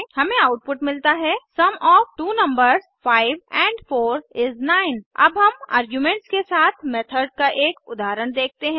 हमें आउटपुट मिलता है sum of two numbers 5 amp 4 इस 9 अब हम आर्ग्यूमेंट्स के साथ मेथड का एक उदहारण देखते हैं